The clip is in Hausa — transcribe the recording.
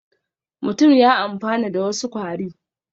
Mutum ya amfana da wasu kwari